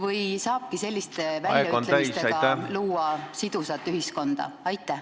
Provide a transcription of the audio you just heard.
... või saabki selliste väljaütlemistega luua sidusat ühiskonda?